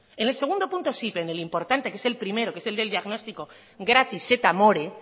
en el segundo punto sí pero en el importante que es el primero que es el del diagnóstico gratis et amore